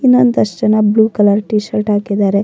ಇನ್ನೊಂದಷ್ಟು ಜನ blue colour T shirt ಹಾಕಿದ್ದಾರೆ-